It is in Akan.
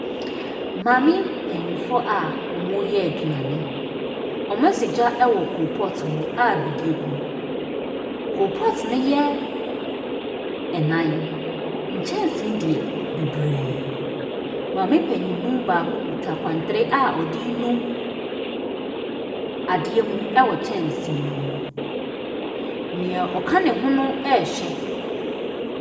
Maame mpaninfoɔ a ɔmo yɛ aduane. Ɔmo asɔ gya ɛwɔ kolpɔt mu a bidie egum. Kolpɔt ne yɛ ɛnan, nkyɛnsee deɛ beberee. Maame panyinmu baako kita kwantere a ɔde nu adeɛ mu ɛwɔ kyɛnsee mu. Nea ɔka ne ho no ɛhwɛ.